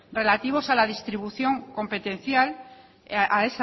relativos a la distribución competencial y